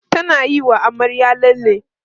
tana Yi wa amaryar lalle